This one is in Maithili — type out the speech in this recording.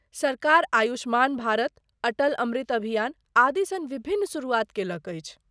सरकार आयुष्मान भारत, अटल अमृत अभियान आदि सन विभिन्न शुरुआत केलक अछि।